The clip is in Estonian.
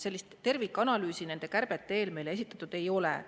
Sellist tervikanalüüsi nende kärbete eel meile esitatud ei ole.